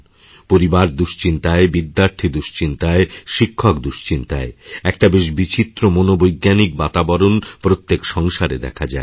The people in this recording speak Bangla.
পরিবার দুশ্চিন্তায় বিদ্যার্থী দুশ্চিন্তায় শিক্ষক দুশ্চিন্তায় একটা বেশবিচিত্র মনোবৈজ্ঞানিক বাতাবরণ প্রত্যেক সংসারে দেখা যায়